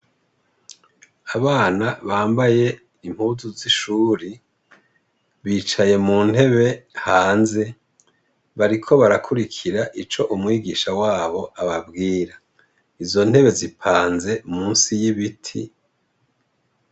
Abana bambaye impuzu z'ishuri, bicaye mu ntebe hanze bariko barakurikira ico umwigisha wabo ababwira izo ntebe zipanze musi y'ibiti.